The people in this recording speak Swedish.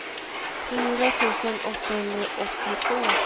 fyra tusen åttahundraåttiotvå